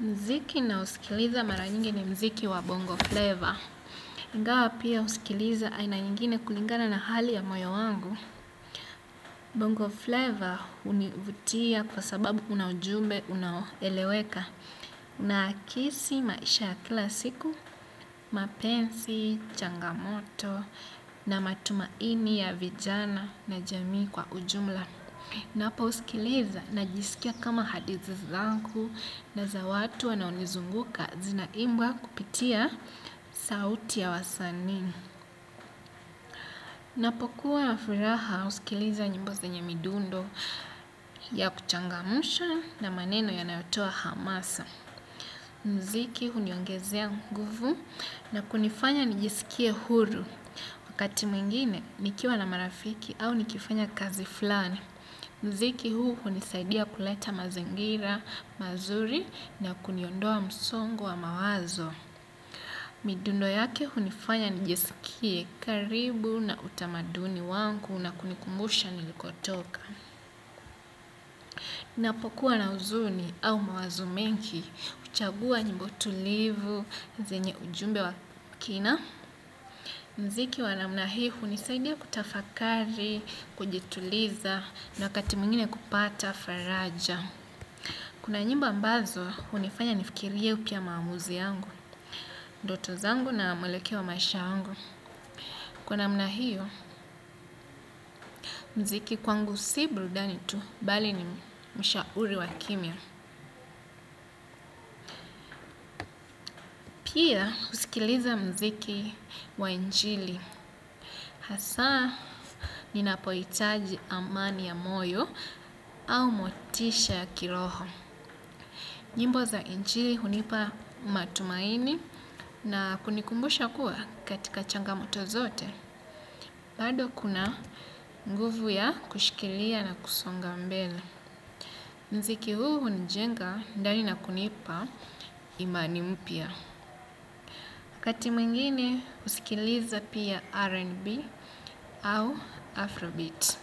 Mziki nausikiliza mara nyingi ni mziki wa bongo flavor. Ingawa pia husikiliza aina nyingine kulingana na hali ya moyo wangu. Bongo flavor hunivutia kwa sababu una ujumbe, unaoeleweka. Unaakisi maisha ya kila siku, mapenzi, changamoto, na matumaini ya vijana na jamii kwa ujumla. Naposikiliza najisikia kama hadithi zangu na za watu wanaonizunguka zina imbwa kupitia sauti ya wasanii. Napokuwa na furaha husikiliza nyimbo zenye midundo ya kuchangamsha na maneno yanayotoa hamasa. Mziki huniongezea nguvu na kunifanya nijisikie huru. Wakati mwingine nikiwa na marafiki au nikifanya kazi fulani. Mziki huu hunisaidia kuleta mazingira, mazuri na kuniondoa msongo wa mawazo. Midundo yake hunifanya nijisikie karibu na utamaduni wangu na kunikumbusha nilikotoka. Napokuwa na huzuni au mawazo mengi, huchagua nyimbo tulivu, zenye ujumbe wa kina. Mziki wa namna hii hunisaidia kutafakari, kujituliza na wakati mwingine kupata faraja. Kuna nyimbo ambazo, hunifanya nifikiriae pia maamuzi yangu, ndoto zangu na mwelekeo wa maisha yangu. Kwa namna hiyo, mziki kwangu si burudani tu, bali ni mshauri wa kimya. Pia, husikiliza mziki wa injili. Hasa, ninapohitaji amani ya moyo au motisha ya kiroho. Nyimbo za injili hunipa matumaini na kunikumbusha kuwa katika changamoto zote. Bado kuna nguvu ya kushikilia na kusonga mbele. Mziki huu hunijenga ndani na kunipa imani mpya. Waati mwingine husikiliza pia R&B au Afrobeat.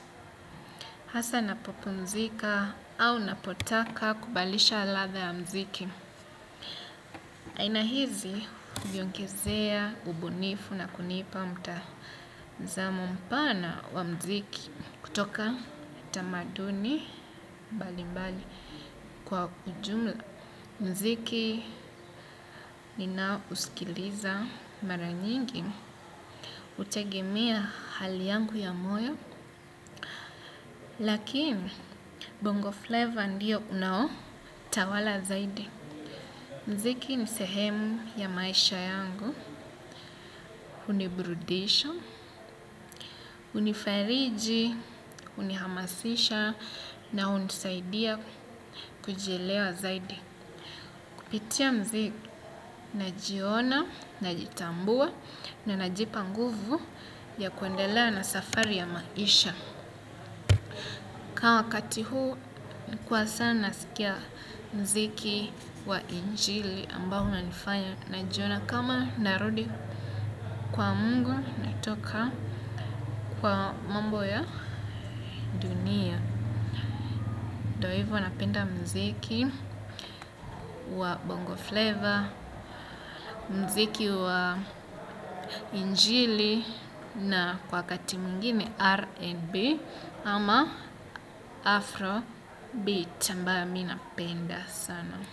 Hasa napopumzika au napotaka kubadilisha ladha ya mziki. Aina hizi viongezea ubunifu na kunipa mtazamo mpana wa mziki kutoka tamaduni mbali mbali kwa ujumla. Mziki ninao uskiliza mara nyingi, hutegemea hali yangu ya moyo, lakini bongo flavor ndiyo unao tawala zaidi. Mziki ni sehemu ya maisha yangu, hunibrudisha, hunifariji, hunihamasisha na hunisaidia kujielewa zaidi. Kupitia mziki najiona, najitambua na najipa nguvu ya kuendelea na safari ya maisha. Kwa wakati huu nilikuwa sana nasikia mziki wa injili ambao unanifanya najiona kama narudi kwa mungu natoka kwa mambo ya. Hivyo napenda mziki wa bongo flavor, mziki wa injili na kwa wakati mwingine R&B ama Afro Beat ambayo mi napenda sana.